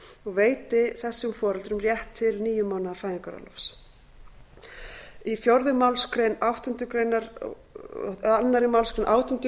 og veiti þessum foreldrum rétt til níu mánaða fæðingarorlofs í fjórðu málsgrein áttundu grein annarri málsgrein átjándu